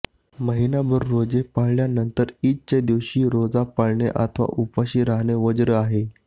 महिनाभर रोजे पाळल्यानंतर ईदच्या दिवशी रोजा पाळणे अथवा उपाशी राहणे वज्र्य आहे